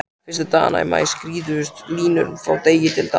Fyrstu dagana í maí skýrðust línur frá degi til dags.